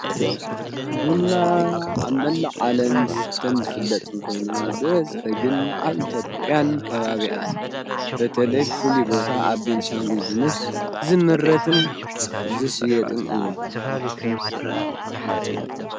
ብና ኣብ መላ ዓለን ሥተን ዝፍለጥ ንኮይኑ በዝ ተግን ኣብ ኢቶጵያን ካባብያን በተለይ ፉል ቦታ ኣብ ቤንሻንጕግምስ ዝምረትን ዝስየጥን እዩ።